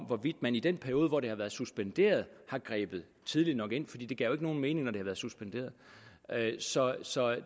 hvorvidt man i den periode hvor det har været suspenderet har grebet tidligt nok ind fordi det gav nogen mening når det har været suspenderet så så